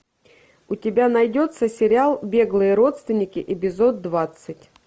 у тебя найдется сериал беглые родственники эпизод двадцать